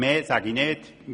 Mehr sage ich nicht dazu;